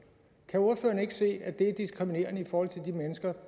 kan ordføreren ikke se at det er diskriminerende i forhold til de mennesker